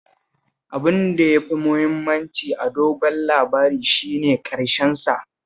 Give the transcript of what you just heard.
Abin da ya fi mahimmanci a dogon labari shi ne ƙarshensa